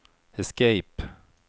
escape